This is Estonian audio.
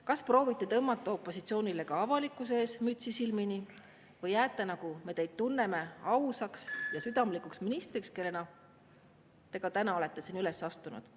Kas proovite tõmmata opositsioonile ka avalikkuse ees mütsi silmini või jääte, nagu me neid tunneme, ausaks ja südamlikuks ministriks, kellena te ka täna olete siin üles astunud?